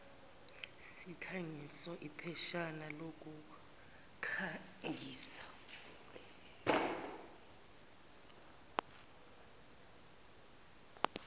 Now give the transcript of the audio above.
sikhangiso ipheshana lokukhangisa